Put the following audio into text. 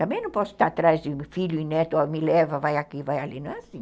Também não posso estar atrás de filho e neto, me leva, vai aqui, vai ali, não é assim.